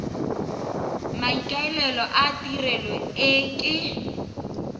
maikaelelo a tirelo e ke